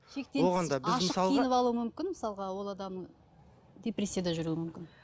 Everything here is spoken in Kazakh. киініп алуы мүмкін мысалға ол адамның депрессияда жүруі мүмкін